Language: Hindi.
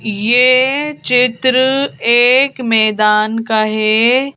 ये चित्र एक मैदान का है।